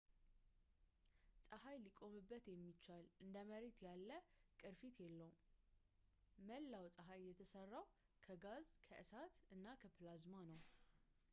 ፀሀይ ሊቆምበት የሚቻል እንደ መሬት ያለ ቅርፊት የለውም መላው ፀሐይ የተሠራው ከጋዝ ከእሳት እና ከፕላዝማ ነው